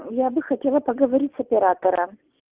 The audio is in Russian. я бы хотела поговорить с оператором